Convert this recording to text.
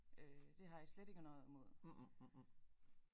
Øh det har jeg slet ikke noget imod